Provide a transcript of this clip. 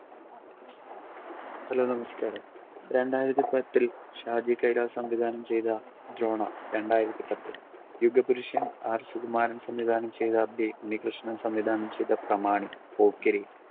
hello, നമസ്കാരം. രണ്ടായിരത്തി പത്തിൽ ഷാജി കൈലാസ് സംവിധാനം ചെയ്ത ദ്രോണ രണ്ടായിരത്തി പത്തിൽ യുഗപുരുഷൻ R സുകുമാരൻ സംവിധാനം ചെയ്ത B ഉണ്ണികൃഷ്ണൻ സംവിധാനം ചെയ്ത പ്രമാണി പോക്കിരി